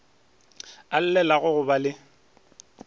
a llelago go ba le